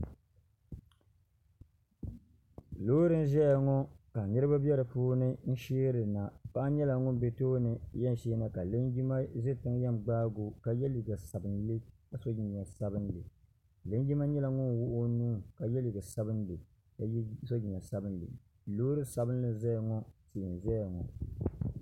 loori n ʒɛya ŋɔ ka niraba bɛ di puuni n sheerina paɣa nyɛla ŋun ʒɛ tooni yɛn sheena ka linjima ʒɛ tiŋ yɛn gbaagi o ka yɛ liiga sabinli ka so jinjɛm sabinli linjima nyɛla ŋun wuɣi o nuu ka yɛ liiga sabinli ka so jinjɛm sabinli loori sabinli n nyɛ ŋun ʒɛya ŋɔ